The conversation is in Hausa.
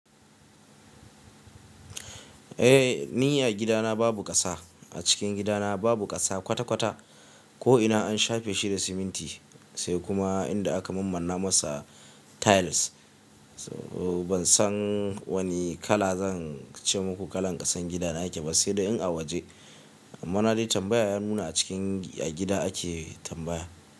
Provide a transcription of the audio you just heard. Eh, ni a gidana babu ƙasa. A cikin gidana babu ƙasa kwata-kwata ko ina an shafe shi da siminti sai kuma inda aka mammanna masa tiles. Ban san wani kala zan ce muku kalan ƙasan gidana yake ba sai dai in a waje. Amma na yi tambaya, ya nuna a cikin, a gida ake tambaya.